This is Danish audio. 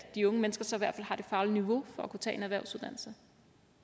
de unge mennesker så i hvert fald har det faglige niveau for at kunne tage en erhvervsuddannelse